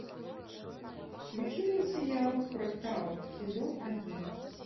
включи мне сериал фрактал сезон один